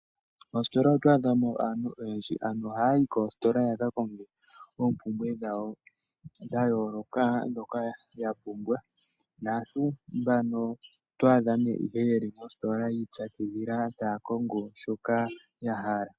Mositola oto adha mo aantu oyendji ,aantu ohaya yi koositola ya ka konge oompumbwe dhawo dhayooloka dhoka ya pumbwa, onkee oto ya adha ihe yeli mositola yiipyakidhila taa landa shoka ya hala.